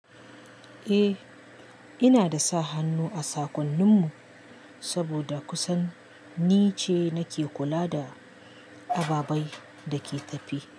Eh, ina da sa hannu a saƙonnin mu saboda kusan ni ce nake kula da ababai da ke tafi.